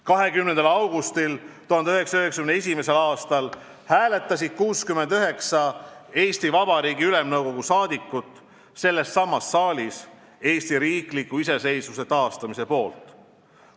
20. augustil 1991. aastal hääletasid 69 Eesti Vabariigi Ülemnõukogu liiget sellessamas saalis Eesti riikliku iseseisvuse taastamise poolt.